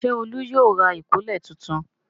Ṣé Olú yóò ra ìkọ́lẹ̀ tuntun?